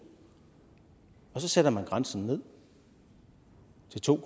og så sætter man grænsen ned til to